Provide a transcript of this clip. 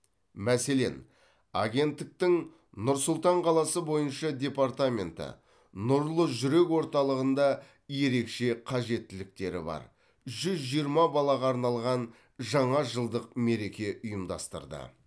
мәселен агенттіктің нұр сұлтан қаласы бойынша департаменті нұрлы жүрек орталығында ерекше қажеттіліктері бар жүз жиырма балаға арналған жаңа жылдық мереке ұйымдастырды